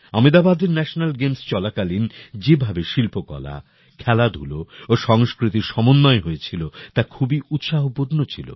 আমেদাবাদের national games চলাকালীন যেভাবে শিল্পকলা খেলাধুলা ও সংস্কৃতির সমন্বয় হয়েছিল তা খুবই উৎসাহপূর্ণ ছিল